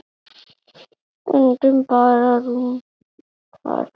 Stundum bara rúntað.